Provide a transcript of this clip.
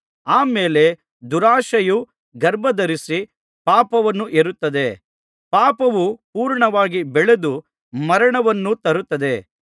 ಆ ಮೇಲೆ ದುರಾಶೆಯು ಗರ್ಭಧರಿಸಿ ಪಾಪವನ್ನು ಹೆರುತ್ತದೆ ಪಾಪವು ಪೂರ್ಣವಾಗಿ ಬೆಳೆದು ಮರಣವನ್ನು ತರುತ್ತದೆ